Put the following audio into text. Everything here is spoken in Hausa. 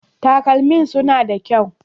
Talkaman suna da kyau.